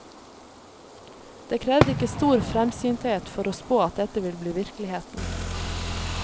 Det krevde ikke stor fremsynthet for å spå at dette ville bli virkeligheten.